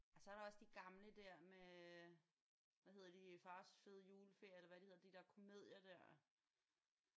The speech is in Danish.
Og så er der også de gamle der med hvad hedder de Fars fede juleferie eller hvad de hedder de der komedier der